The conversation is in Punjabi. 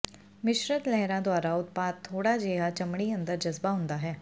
ਮਿਸ਼ਰਤ ਲਹਿਰਾਂ ਦੁਆਰਾ ਉਤਪਾਦ ਥੋੜ੍ਹਾ ਜਿਹਾ ਚਮੜੀ ਅੰਦਰ ਜਜ਼ਬ ਹੁੰਦਾ ਹੈ